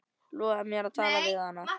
Lofaðu mér að tala við hana.